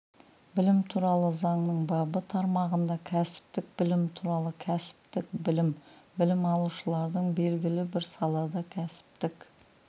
білім туралы заңның бабы тармағында кәсіптік білім туралы кәсіптік білім білім алушылардың белгілі бір салада кәсіптік